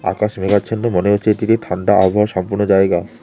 আকাশ মেঘাচ্ছন্ন মনে হচ্ছে এতিকে ঠান্ডা আবহাওয়া সম্পন্ন জায়গা।